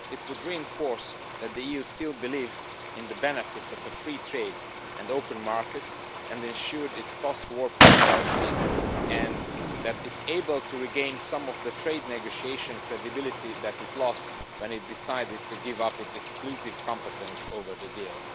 It would reinforce that the EU still believes in the benefits of free trade and open markets that ensured its post war prosperity, and that it is able to regain some of the trade negotiation credibility that it lost when it decided to give up its exclusive competence over the deal.